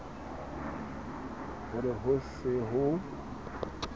ho re ho se ho